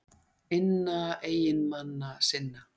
inna eiginmanna sinna.